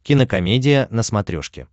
кинокомедия на смотрешке